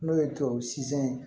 N'o ye tubabu fɛn ye